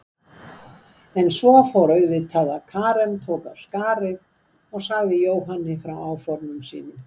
En svo fór auðvitað að Karen tók af skarið og sagði Jóhanni frá áformum sínum.